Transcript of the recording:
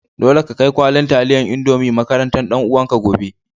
Dole ka kai kwallin talliyan indomie makarantan dan uwan ka gobe.